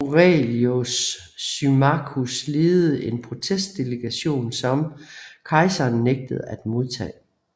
Aurelius Symmachus ledede en protestdelegation som kejseren nægtede at modtage